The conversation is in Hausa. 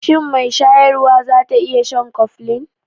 Shin mai shayarwa za ta iya shan Koflin?